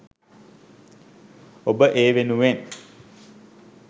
ඔබ ඒවෙනුවෙන්